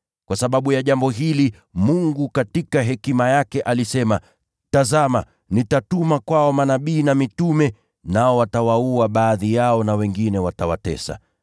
Kwa sababu ya jambo hili, Mungu katika hekima yake alisema, ‘Tazama, nitatuma kwao manabii na mitume, nao watawaua baadhi yao na wengine watawatesa.’